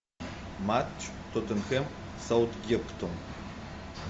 матч тоттенхэм саутгемптон